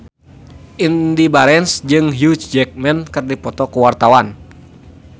Indy Barens jeung Hugh Jackman keur dipoto ku wartawan